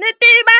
ni tiva.